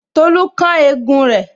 Tolu kán egun rẹ